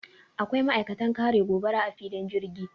akwai ma'aikatan kare gobara a filin jirgi